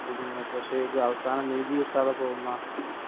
അതന്നെ അതന്നെയാണ് ഇവിടെ പ്രശ്നമായി വരുന്നത് വാർത്ത മാധ്യമങ്ങൾക്ക്